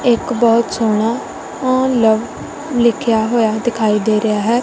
ਇੱਕ ਬਹੁਤ ਸੋਹਣਾ ਆ ਲਵ ਲਿਖਿਆ ਹੋਇਆ ਦਿਖਾਈ ਦੇ ਰਿਹਾ ਹੈ।